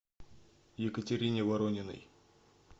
екатерине ворониной